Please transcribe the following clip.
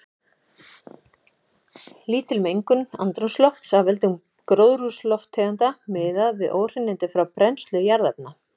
Lítil mengun andrúmslofts af völdum gróðurhúsalofttegunda miðað við óhreinindi frá brennslu jarðefna.